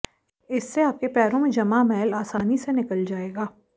इससे आपके पैरों में जमा मैल आसानी से निकल जाएगा